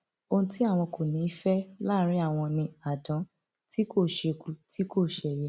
ohun tí àwọn kò ní í fẹ láàrín àwọn ni àdán tí kò ṣeku tí kò ṣẹyẹ